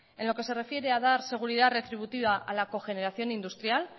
en lo que se refiere a dar seguridad retributiva a la cogeneración industrial